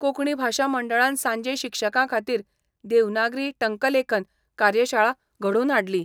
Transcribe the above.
कोंकणी भाशा मंडळान सांजे शिक्षकां खातीर देवनागरी टंकलेखन कार्यशाळा घडोवन हाडली.